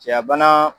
Cɛya bana